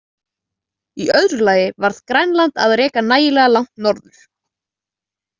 Í öðru lagi varð Grænland að reka nægilega langt norður.